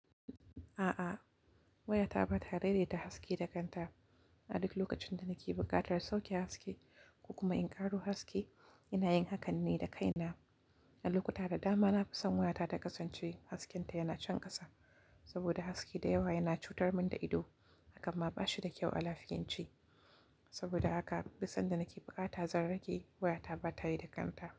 A'a, wayata ba ta daidaita haske da kanta. A duk lokacin da nake buƙatar sauke haske ko kuma in ƙaro haske, ina yin hakan ne da kaina. A lokuta da dama na fi son wayata ta kasance haskenta yana canƙasa saboda haske da yawa yana cutar mun da ido, hakan ma ba shi da kyau a lafiyanci. Saboda haka duk sanda nake buƙata zan rage wayata ba ta yi da kanta.